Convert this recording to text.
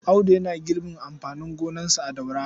Audu yana girbin amfanin gonarsa a Daura.